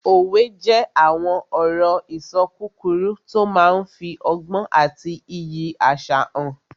Òwe jẹ́ àwọn ọ̀rọ̀-ìṣọ kúkúrú tó máa n fi ọgbọ́n àti iyì àṣà hàn